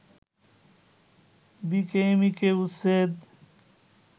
বিকেএমইকে উচ্ছেদ